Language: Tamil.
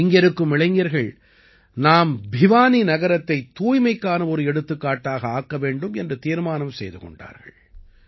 இங்கிருக்கும் இளைஞர்கள் நாம் பிவானி நகரத்தைத் தூய்மைக்கான ஒரு எடுத்துக்காட்டாக ஆக்க வேண்டும் என்று தீர்மானம் செய்து கொண்டார்கள்